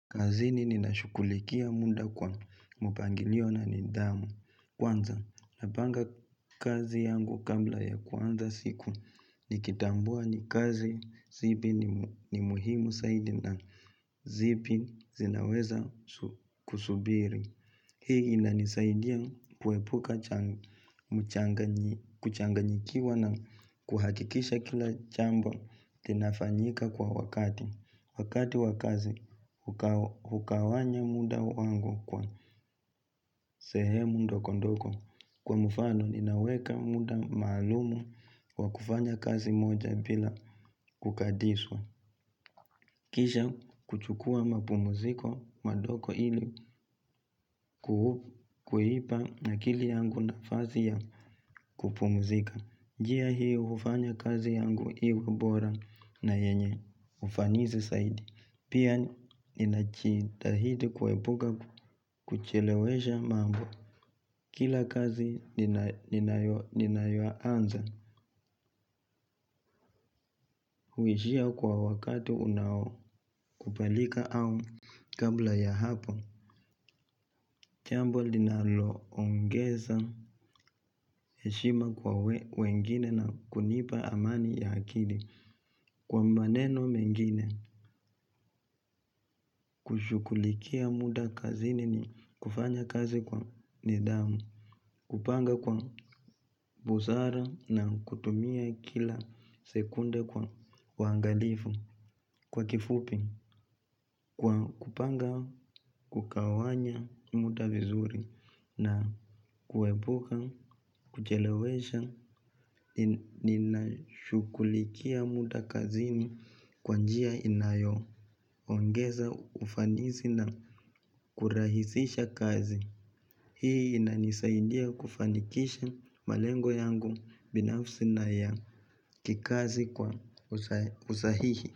Kazini nina shukulikia munda kwa mpangiliona nidhamu. Kwanza, napanga kazi yangu kamla ya kwanza siku nikitambua ni kazi zibi ni muhimu saidi na zibi zinaweza kusubiri. Hii inanisaidia kuepuka kuchanganyikiwa na kuhakikisha kila chambo kinafanyika kwa wakati. Wakati wakazi hukawanya muda wangu kwa sehemu ndokondoko kwa mufano ninaweka muda maalumu wa kufanya kazi moja bila kukadiswa. Kisha kuchukua mapumuziko madoko kuipa akili yangu nafazi ya kupumuzika. Njia hiyo ufanya kazi yangu iwebora na yenye ufanizi saidi. Pia ninachitahidi kuwebuka kuchelewesha mambo. Kila kazi ninayoanza huishia kwa wakati unao kupalika au kabla ya hapo. Chambwa linaloongeza heshima kwa wengine na kunipa amani ya akili. Kwa maneno mengine, kushukulikia muda kazini ni kufanya kazi kwa nidhamu, kupanga kwa busara na kutumia kila sekunde kwa wangalifu. Kwa kifupi, kwa kupanga, kukawanya muda vizuri na kuebuka, kuchelewesha, ninashukulikia muda kazini kwanjia inayo, ongeza ufanisi na kurahisisha kazi. Hii inanisaindia kufanikisha malengo yangu binafsi na ya kikazi kwa usahihi.